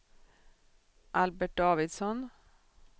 Albert Davidsson